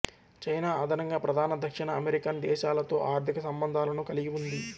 China అదనంగా ప్రధాన దక్షిణ అమెరికన్ దేశాలతో ఆర్థిక సంబంధాలను కలిగి ఉంది